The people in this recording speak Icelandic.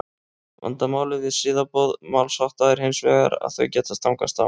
vandamálið við siðaboð málshátta er hins vegar að þau geta stangast á